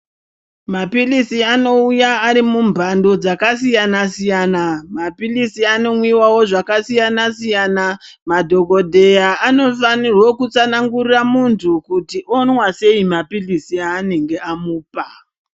Maphirizi anouya ari mumhando dzakasiyana-siyana . Maphirizi anomwiwawo zvakasiyana-siyana. Madhogodheya anofanirwe kutsanangurire muntu kuti onwa sei maphiritsi eanenge amupa.